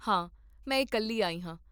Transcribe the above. ਹਾਂ, ਮੈਂ ਇਕੱਲੀ ਆਈ ਹਾਂ